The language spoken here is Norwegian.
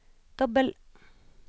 dobbel